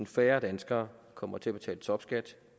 færre danskere kommer til at betale topskat